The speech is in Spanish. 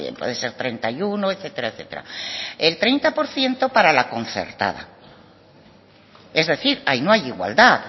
puede ser treinta y uno etcétera etcétera el treinta por ciento para la concertada es decir ahí no hay igualdad